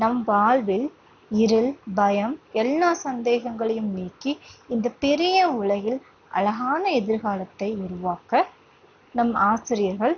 நம் வாழ்வில் இருள், பயம் எல்லா சந்தேகங்களையும் நீக்கி இந்தப் பெரிய உலகில் அழகான எதிர்காலத்தை உருவாக்க நம் ஆசிரியர்கள்